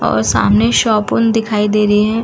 और सामने शॉपुन दिखाई दे रही है।